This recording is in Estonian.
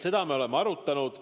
Seda me oleme arutanud.